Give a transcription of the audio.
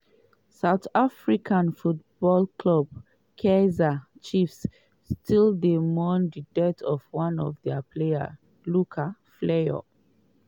south african football club kaizer chiefs still dey mourn di death of one of dia player luke fleurs.